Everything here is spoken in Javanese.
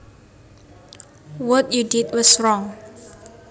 What you did was wrong